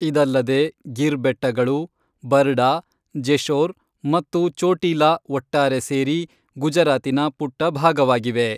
ಇದಲ್ಲದೆ ಗಿರ್ ಬೆಟ್ಟಗಳು, ಬರ್ಡಾ, ಜೆಶೋರ್ ಮತ್ತು ಚೋಟೀಲಾ ಒಟ್ಟಾರೆ ಸೇರಿ ಗುಜರಾತಿನ ಪುಟ್ಟಭಾಗವಾಗಿವೆ.